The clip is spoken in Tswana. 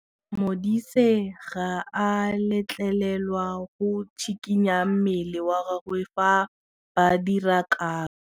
Modise ga a letlelelwa go tshikinya mmele wa gagwe fa ba dira karô.